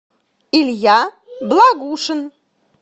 илья благушин